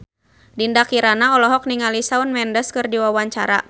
Dinda Kirana olohok ningali Shawn Mendes keur diwawancara